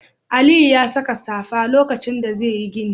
Aliyu ya saka safa lokacin da zai yi gini.